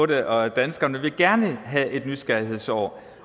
det og danskerne vil gerne have et nysgerrighedsår